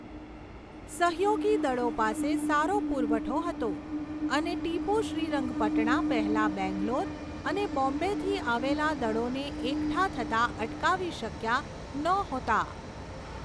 સહયોગી દળો પાસે સારો પુરવઠો હતો અને ટીપુ શ્રીરંગપટણા પહેલા બેંગ્લોર અને બોમ્બેથી આવેલા દળોને એકઠા થતા અટકાવી શક્યા નહોતા.